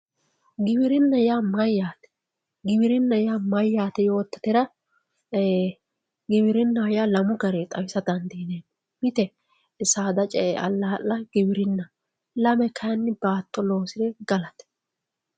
giwirinna yaa mayyaate giwirinna yaa mayyaate yoottatera giwirinna yaa lamu garinni xawisa dandiineemmo mitte saada ce''e allaa'la giwirinnaho lame kayiinni baatto loosire galate.